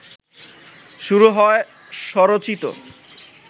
শুরু হয় স্বরচিত